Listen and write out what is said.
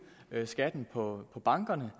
skatten på bankerne